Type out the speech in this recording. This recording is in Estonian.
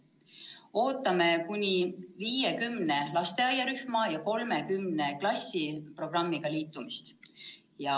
Ootame kuni 50 lasteaiarühma ja 30 klassi programmiga liitumist.